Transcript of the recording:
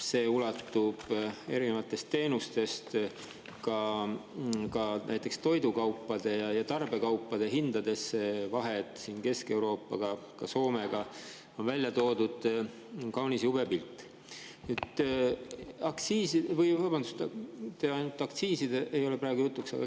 See ulatub erinevatest teenustest ka näiteks toidukaupade ja tarbekaupade hindadeni, Kesk‑Euroopaga, ka Soomega, on välja toodud kaunis jube pilt.